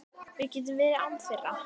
Við getum verið án þeirra.